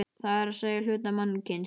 Það er að segja, hluta mannkyns.